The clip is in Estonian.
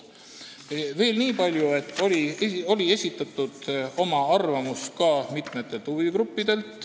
Veel niipalju, et oma arvamuse olid esitanud ka mitmed huvigrupid.